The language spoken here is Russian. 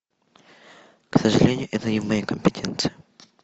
к сожалению это не в моей компетенции